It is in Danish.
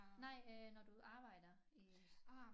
Nej øh når du arbejder i